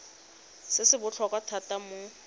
se se botlhokwa thata mo